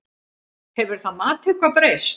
Hefur það mat eitthvað breyst?